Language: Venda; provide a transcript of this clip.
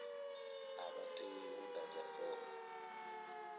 a vha tei u ḓadza fomo